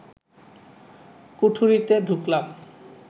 কুঠুরিতে ঢুকলাম